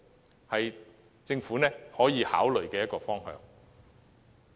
這是政府可以考慮的一個方向。